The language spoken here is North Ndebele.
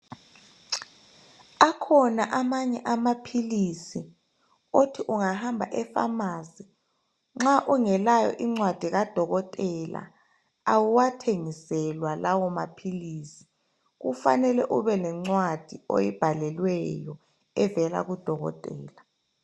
Akhona amanye amaphilisi othi ungahamba efamasi nxa ungelayo incwadi kadokotela awuwathengiswela lawo maphilisi, kufanele ube lencwadi oyibhalelweyo evela kudokotela .